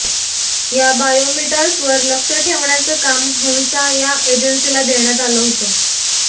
या बायोमीटर्सवर लक्ष ठेवण्याचं काम हंसा या एजेन्सीला देण्यात आलं होतं